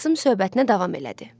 Qasım söhbətinə davam elədi.